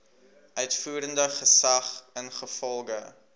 uitvoerende gesag ingevolge